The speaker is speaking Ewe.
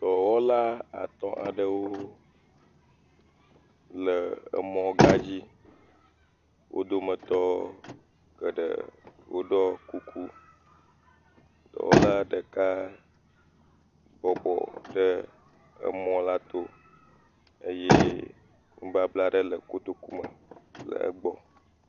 Dɔwɔwla atɔ̃ aɖewo le emɔ̃gãdzi. Wo dometɔ geɖe woɖɔ kuku. Dɔwɔla ɖeka bɔbɔ ɖe emɔla to eye nubabla aɖe le kotokume le egbɔ.